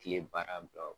Kile baara bila